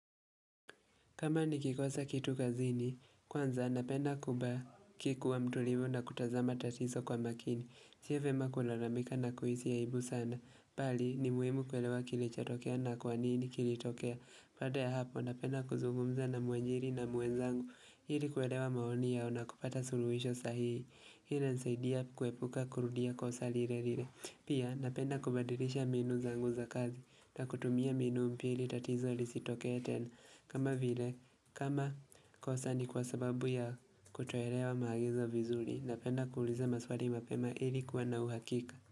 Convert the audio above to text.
Kama nikikosa kitu kazini, kwanza napenda kubaki kuwa mtulivu na kutazama tatizo kwa makini. Si vyema kulalamika na kuhisi ya aibu sana. Bali ni muhimu kuelewa kilichotokea na kwa nini kilitokea. Baada ya hapo napenda kuzugumza na mwanjiri na mwenzangu. Ili kuelewa maoni yao na kupata suluhisho sahihi. Hili linsaidia kuepuka kurudia kosa lile lile. Pia napenda kubadilisha mbinu zangu za kazi. Na kutumia mbinu ingine tatizo likitokea tena. Kama vile kama kosa ni kwa sababu ya kutoelewa maagizo vizuri Napenda kuuliza maswali mapema ili kuwa na uhakika.